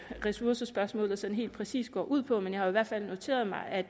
ressourcespørgsmålet sådan helt præcist går ud på men jeg har i hvert fald noteret mig at